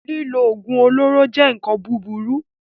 Lílo oògùn olóró jẹ́ nkan burúkú